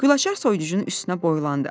Gülaçar soyuducunun üstünə boylandı.